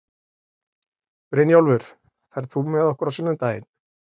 Brynjólfur, ferð þú með okkur á sunnudaginn?